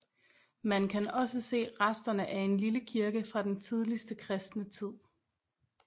Man kan også se resterne af en lille kirke fra den tidligste kristne tid